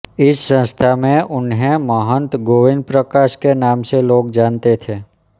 इस संस्था में उन्हें महन्त गोविन्द प्रकाश के नाम से लोग जानते थे